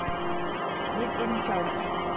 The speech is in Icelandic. Við erum klárar.